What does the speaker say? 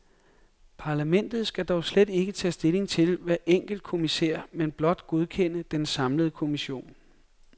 Parlamentet skal dog slet ikke tage stilling til hver enkelt kommissær, men blot godkende den samlede kommission.